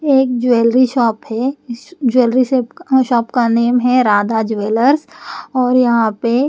एक jewellery shop है इस ज्वेलरी अ शॉप का नाम है राधा ज्वेलर्स और यहाँ पे --